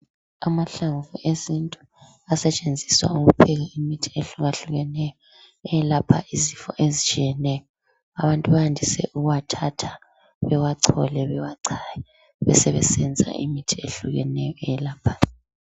Amahlamvu esintu asetshenziswa ukupheka imithi yesintu ehlukahlukeneyo eyelapha izifo ezitshiyeneyo. Abantu bayandise ukuwathatha bewachole bewachaye besebesenza imithi ehlukeneyo eyelaphayo.